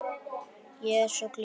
Ég er svo glöð.